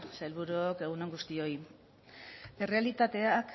sailburuok egun on guztioi errealitateak